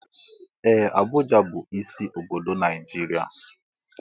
Ee! Abuja bụ isi obodo Naijiria.